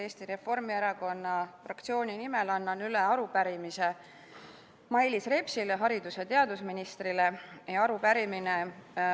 Eesti Reformierakonna fraktsiooni nimel annan üle arupärimise haridus- ja teadusminister Mailis Repsile.